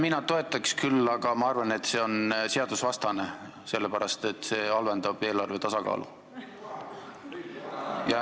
Mina toetaks küll, aga ma arvan, et see on seadusvastane, sellepärast et see halvendab eelarve tasakaalu.